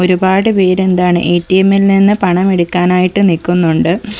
ഒരുപാട് പേര് എന്താണ് എ_ടി_എമ്മിൽ നിന്ന് പണം എടുക്കാനായിട്ട് നിക്കുന്നുണ്ട്.